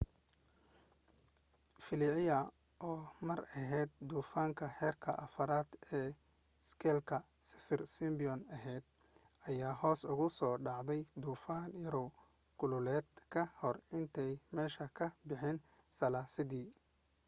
felicia oo mar ahayd duufaanka heerka 4 ee iskeelka saffir-simpson ahayd ayaa hoos ugu soo dhacday duufaan yaraw kulaaleed ka hor intaanay meesha ka bixin salaasadii